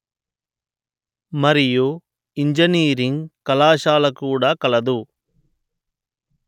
మరియు ఇంజనీరింగ్ కళాశాల కూడా కలదు